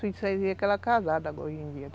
A gente que ela é casada hoje em dia.